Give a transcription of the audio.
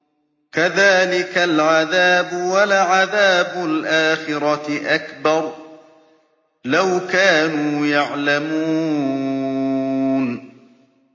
كَذَٰلِكَ الْعَذَابُ ۖ وَلَعَذَابُ الْآخِرَةِ أَكْبَرُ ۚ لَوْ كَانُوا يَعْلَمُونَ